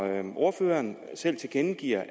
at ordføreren selv tilkendegav at